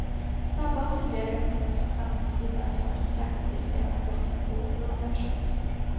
Snabba och tydliga reaktioner från samhällets sida är tvärtom särskilt viktiga när brotten begås av unga personer.